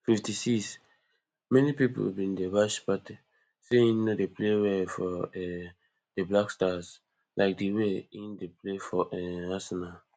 fifty-sixmany pipo bin dey bash partey say im no dey play well for um di blackstars like di way im dey play for um arsenal